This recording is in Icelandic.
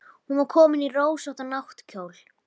Hún var komin í rósóttan náttkjól.